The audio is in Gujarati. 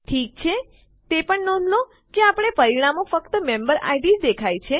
ઠીક છે તે પણ નોંધ લો કે આપણને પરિણામોમાં ફક્ત મેમ્બેરિડ જ દેખાય